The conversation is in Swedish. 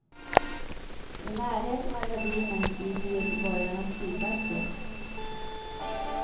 I närheten av ravinen ligger göteborgarnas skidbacke.